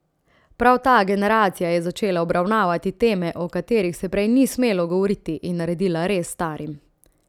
Prav ta generacija je začela obravnavati teme, o katerih se prej ni smelo govoriti, in naredila rez s starim.